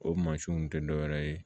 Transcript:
O mansinw tɛ dɔ wɛrɛ ye